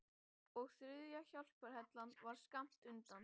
Og þriðja hjálparhellan var skammt undan.